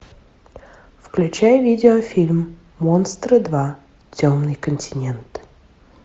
включай видеофильм монстры два темный континент